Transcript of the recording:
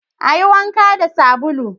Ayi wanka da sabulu